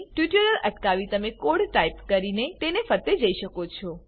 tutorial અટકાવી તમે આ કોડ ટાઈપ કરી તેને ફરતે જઈ શકો છો